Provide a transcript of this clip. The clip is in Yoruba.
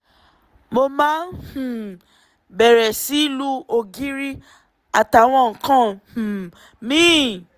mo wá um bẹ̀rẹ̀ sí í lu ògiri àtàwọn nǹkan um míì